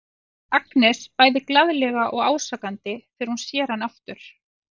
segir Agnes bæði glaðlega og ásakandi þegar hún sér hann aftur.